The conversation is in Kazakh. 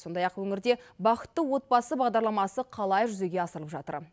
сондай ақ өңірде бақытты отбасы бағдарламасы қалай жүзеге асырылып жатыр